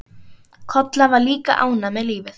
Kolla var líka ánægð með lífið.